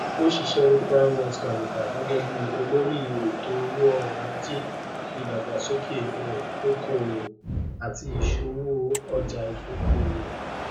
ó ṣiṣẹ ní primewealth capital gẹgẹ bí olórí ètò owó ọrọ ajé ìdàgbàsókè um òkòòwò àti ìṣowò ọjàìdókòwò